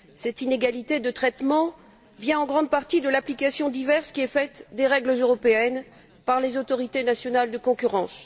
Cette inégalité de traitement vient en grande partie de l'application diverse des règles européennes par les autorités nationales de concurrence.